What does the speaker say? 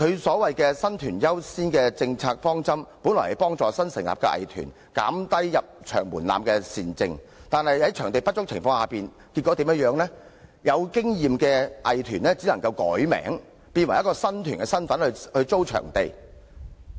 所謂的"新團優先"政策方針，本意是幫助新成立的藝團，減低入場門檻的善政，但在場地不足的情況下，結果導致有經驗的藝團易名，務求能以新團身份成功租用場地。